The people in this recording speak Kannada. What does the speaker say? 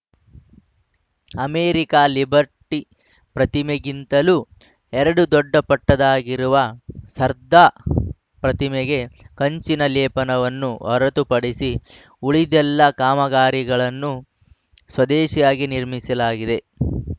ಅಮೆರಿಕದ ಲಿಬರ್ಟಿ ಪ್ರತಿಮೆಗಿಂತಲೂ ಎರಡು ದೊಡ್ಡಪಟ್ಟದಾಗಿರುವ ಸರ್ದಾರ್‌ ಪ್ರತಿಮೆಗೆ ಕಂಚಿನ ಲೆಪನವನ್ನು ಹೊರತುಪಡಿಸಿ ಉಳಿದೆಲ್ಲಾ ಕಾಮಗಾರಿಗಳನ್ನು ಸ್ವದೇಶಿಯಾಗಿ ನಿರ್ಮಿಸಲಾಗಿದೆ